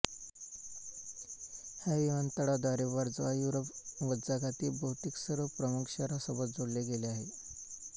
ह्या विमानतळाद्वारे वर्झावा युरोप व जगातील बहुतेक सर्व प्रमुख शहरांसोबत जोडले गेले आहे